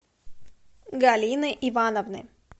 галины ивановны